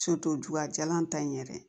ju ka jalan ta in yɛrɛ